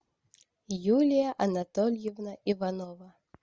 юлия анатольевна иванова